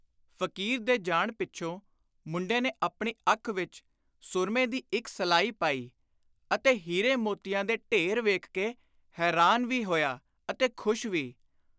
” ਫ਼ਕੀਰ ਦੇ ਜਾਣ ਪਿੱਛੋਂ ਮੁੰਡੇ ਨੇ ਆਪਣੀ ਅੱਖ ਵਿਚ ਸੁਰਮੇ ਦੀ ਇਕ ਸਲਾਈ ਪਾਈ ਅਤੇ ਹੀਰੇ ਮੋਤੀਆਂ ਦੇ ਢੇਰ ਵੇਖ ਕੇ ਹੈਰਾਨ ਵੀ ਹੋਇਆ ਅਤੇ ਖ਼ੁਸ਼ ਵੀ।